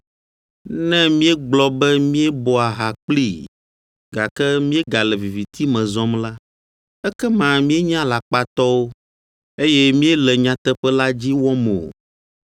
Ne míegblɔ be míebɔa ha kplii, gake míegale viviti me zɔm la, ekema míenye alakpatɔwo, eye míele nyateƒe la dzi wɔm o.